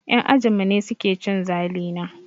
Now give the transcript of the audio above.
Yan ajinmu ne suke cin zalina.